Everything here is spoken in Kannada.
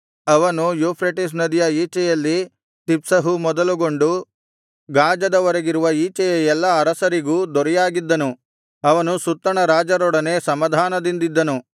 ಅವನು ಯೂಫ್ರೆಟಿಸ್ ನದಿಯ ಈಚೆಯಲ್ಲಿ ತಿಪ್ಸಹು ಮೊದಲುಗೊಂಡು ಗಾಜದವರೆಗಿರುವ ಈಚೆಯ ಎಲ್ಲಾ ಅರಸರಿಗೂ ದೊರೆಯಾಗಿದ್ದನು ಅವನು ಸುತ್ತಣ ರಾಜರೊಡನೆ ಸಮಾಧಾನದಿಂದಿದ್ದನು